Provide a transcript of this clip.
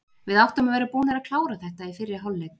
Við áttum að vera búnir að klára þetta í fyrri hálfleik.